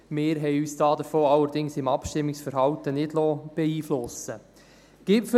Wir haben uns davon allerdings im Abstimmungsverhalten nicht beeinflussen lassen.